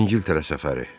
İngiltərə səfəri.